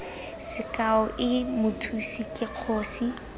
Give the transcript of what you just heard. sekao i mothusi ke kgosi